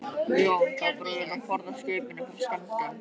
Jón: Það er bara verið að forða skipinu frá skemmdum?